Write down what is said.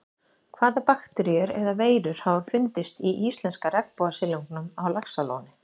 Hvaða bakteríur eða veirur hafa fundist í íslenska regnbogasilungnum á Laxalóni?